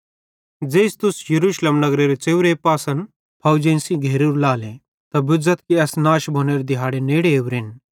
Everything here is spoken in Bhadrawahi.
ज़ेइस तुस यरूशलेम नगर च़ेव्रे पासन फौवजेइं सेइं घेरेरू लाले त बुझ़थ कि एस नाश भोनेरे दिहाड़े नेड़े ओरेन